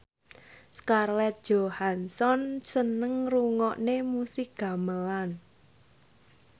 Scarlett Johansson seneng ngrungokne musik gamelan